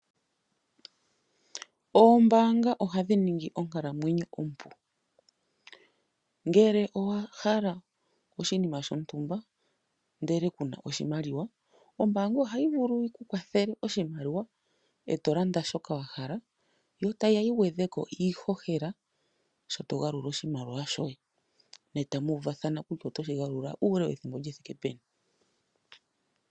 Oombaanga ohadhi ningi onkalamwenyo ompu, ngele owa hala oshinima shontumba ndele kuna oshimaliwa ombaanga ohayi vulu yikuwathele oshimaliwa e tolando shoka wahala, yo tayi ya yi gwetheko iihohela sho togalula oshimaliwa shoye, netamu u vathana kutya oto shigalula uule wethimbo lithike peni.